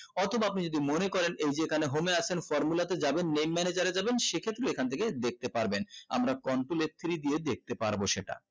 অথবা আপনি যদি মনে করেন এই যেখানে home আছে formula তে যাবেন main manager এ যাবেন সেক্ষেত্রে এখান থেকে দেখতে পারবেন আমরা contron f three দিয়ে দেখতে পারবো সেটা